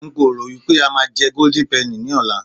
nko ro wipe a ma je golden penny ní ọlá